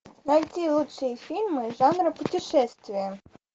найти лучшие фильмы жанра путешествия